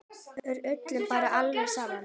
Er öllum bara alveg sama?